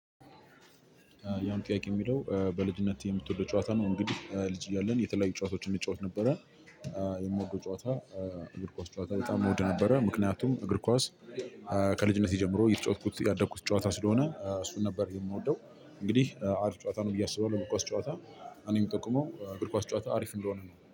የአሁኑ ጥያቄ የሚለው በልጅነትህ የምትወደው ጨዋታ ነው? እንግዲህ ልጅ እያለን የተለያዩ ጨዋታዎችን እንጫወት ነበረ። የምወደው ጨዋታ እግር ኳስ ጨዋታ በጣም እወድ ነበረ። ምክንያቱም እግር ኳስ። ከልጅነቴ ጀምሮ እየተጫወትኩት ያደኩት ጨዋታ ስለሆነ እሱን ነበር የምወደው። እንግዲህ አሪፍ ጨዋታ ነው ብዬ አስባለሁ ኳስ ጨዋታ። እኔ የምጠቁመው እግር ኳስ ጨዋታ አሪፍ የሚለው ነው